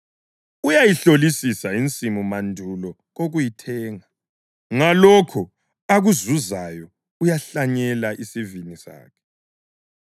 Uyayihlolisisa insimu mandulo kokuyithenga; ngalokho akuzuzayo uyahlanyela isivini sakhe.